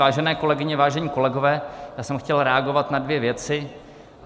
Vážené kolegyně, vážení kolegové, já jsem chtěl reagovat na dvě věci.